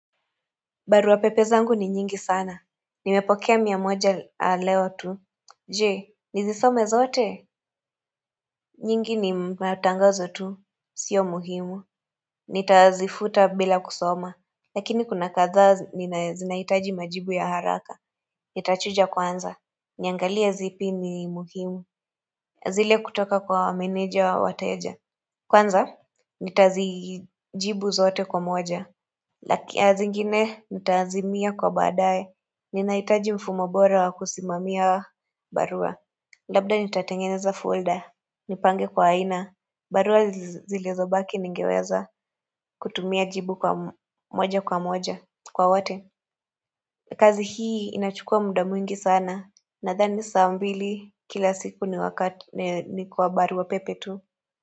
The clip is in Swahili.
Barua pepe zangu ni nyingi sana. Nimepokea mia moja leo tu. Je, nizisome zote? Nyingi ni matangazo tu. Sio muhimu. Nitazifuta bila kusoma. Lakini kuna kadhaa zinahitaji majibu ya haraka. Nitachuja kwanza. Niangalia zipi ni muhimu. Zile kutoka kwa meneja wa wateja. Kwanza? Nitazijibu zote kwa moja. Lakini zingine nitaazimia kwa badae. Ninahitaji mfumo bora wa kusimamia barua Labda nitatengeneza folder, nipange kwa aina barua zilizo baki ningeweza kutumia jibu kwa moja kwa moja kwa wote kazi hii inachukua muda mwingi sana Nadhani saa mbili kila siku ni kwa barua pepe tu.